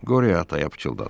Qorya ataya pıçıldadı: